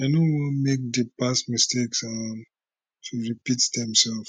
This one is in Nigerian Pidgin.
i no want make di past mistakes um to repeat themselves